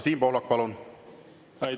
Siim Pohlak, palun!